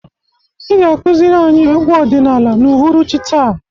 Ị ga-akụziri anyị egwu ọdịnala n'uhuruchi taa.